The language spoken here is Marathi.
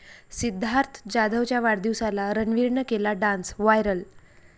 सिद्धार्थ जाधवच्या वाढदिवसाला रणवीरनं केला डान्स, व्हायरल